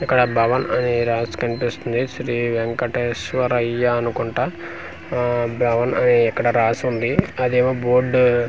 ఇక్కడ భవన్ అనే రాసి కనిపిస్తుంది శ్రీ వెంకటేశ్వరయ్యా అనుకుంటా ఆ అని బ్రౌన్ అని ఇక్కడ రాసుంది ఆదేమో బోర్డు --